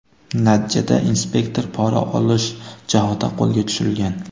Natijada inspektor pora olish chog‘ida qo‘lga tushirilgan.